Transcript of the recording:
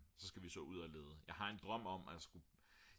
så skal vi så ud at lede jeg har en drøm om at skulle